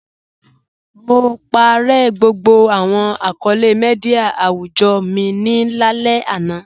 Mo pàárẹ̀ gbogbo awọn akọọlẹ̀ míḍíà awùjọ́ mi ni alẹ̀ ana.